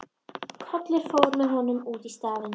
Kollur fór með honum út í staðinn.